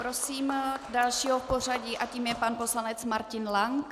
Prosím dalšího v pořadí a tím je pan poslanec Martin Lank.